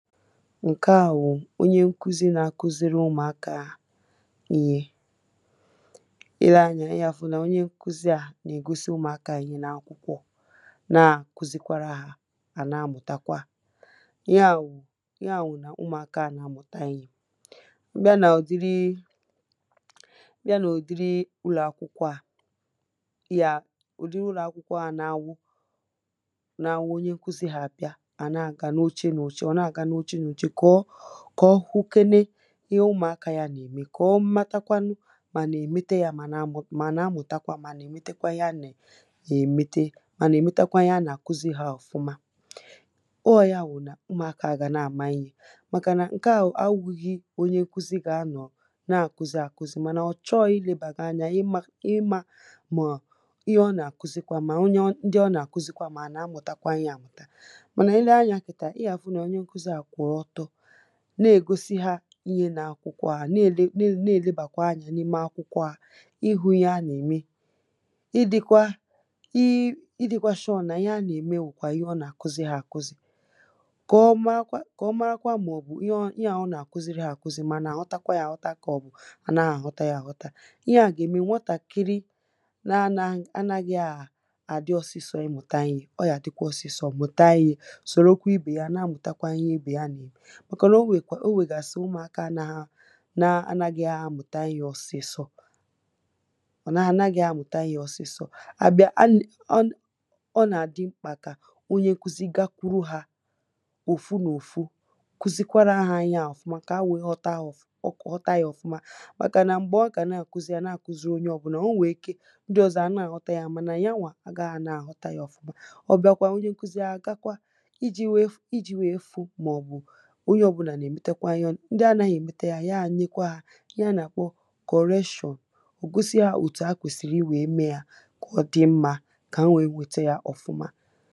Nke à wụ̀ onye nkụzi na-akụziri ụmụ̀akȧ ihe. Ị le anyȧ ị yà fụ̀ nà onye nkwụzi à nà-ègosi ụmụ̀akȧ ihe na-akwụkwọ, na-àkụzikwara, hȧ à na-amụ̀takwa à. Ihe à wụ,̀ ihe à wụ̀ nà ụmụ̀akȧ à na-amụ̀ta ihė. Ìbịa nà òdiri, I bịa nà òdiri ụlọ̀akwụkwọ à, yà òdiri ụlọ̀akwụkwọ à nà-anwụ nà-anwụ onye nkụzi hà bịa, à na-àga n’oche n’oche kà ọ hụkene ihe ụmụ̀akȧ ya nà-ème, kà ọ matakwanụ mà nà-èmete ya, mà nà amụ, ma ha na-amụ̀takwa, mà ha nà-èmetekwa ihe a nà-ème, nà-èmete, mà ha nà-èmetakwa ihe a nà-àkụzi hȧ ọ̀fụma.ọ̇ ya wù nà ụmụ̀akȧ a gà na-àma ihe, màkà nà ǹke à anwụ̀ghị̀ onye nkụzi gà-anọ̀ na-àkụzi àkụzi mànà ọ̀ chọọghi ilėbàghà anya ịmȧ ịmȧ mà ihe ọ nà-àkụzikwa, mà onye, ọ ndị ọ nà-àkụzikwa mà nà amụ̀takwa ihe àmùtȧ. Mà nà ile Anya kita i ga-afu nà onyė nkuzi a kwu otọ na-ègosi hȧ inyė na-akwụkwọ à, na-èle, na-èle bàkwa anyȧ n’ime akwụkwọ à, ihu̇ ihe ha nà-ème. I dikwa i i dikwa sure nà ihe ha nà-ème bukwȧ ihe ọ nà-àkụzi hȧ àkụzi. Kọ̀ọ marakwa, kọ̀ọ̀marakwa màọ̀bù ihe ọ ihe ọ nà-àkụziri hȧ àkụzi mà ha ànà aghọtakwa yȧ àghọta ka obu nà-anaghi aghọtakwa yȧ àghọta. Ihe à gà-ème nwatàkiri na ana, nà-anaghị àdi ọsịsọ na imuta ̇ihe. ọ yà dịkwa ọsịsọ muta ìhe, sorokwa ibe ya nà-àmuta ìhe ibe yà n'ème. Màkà nà o nwèkwàrà, o nwegasiri ụmụaka nà nà-anaghi̇ a mùta ihe ọ̀sị̀sọ, ọ, ànàghi àmuta Ihe ọ̀sị̀sọ, à bia ana, ọ nà, ọ nà-àdị mkpà kà onye nkụzi gakwuru hȧ òfu nà òfu, kuzikwara hȧ ihe à ọ̀fuma kà ha ǹwe ghọta yȧ ọ̀fuma, màkà nà m̀gbè ọ kà nà ȧkuzi yȧ, nà ȧkuzi onye ọ̀bùnà, o nwèè ike ndị ọ̀zọ ànà à ghọta yȧ mànà ya wà agȧghi nà à ghọta yȧ ọ̀fuma. ọ̀ bịa kwà onye nkụzi ȧ gakwa iji̇ wèe fu, iji̇ wèe fu màọbụ onyė obula nà-èmete Ihe.Ndi anaghị̇ èmete yȧ, ya nye kwa yȧ ihe anàkpọ correction, ò gosi hȧ òtù ha kwèsìrì i wèe mee yȧ ka ọdì mmȧ kà ha wèe wète yȧ ọ̀fụma.